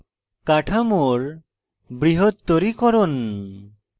কাঠামোর বৃহত্তরীকরণ